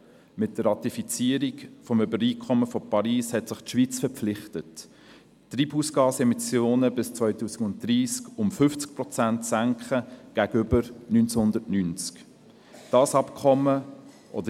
Mit der Ratifizierung des Übereinkommens von Paris hat sich die Schweiz verpflichtet, die Treibhausgasemissionen bis 2030 um 50 Prozent gegenüber 1990 zu senken.